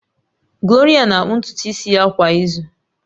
Gloria na-akpụ ntutu isi ya kwa izu